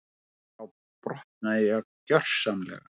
Þá brotnaði ég gjörsamlega.